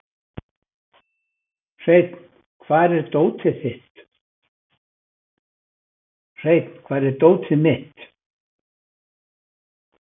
Hreinn, hvar er dótið mitt?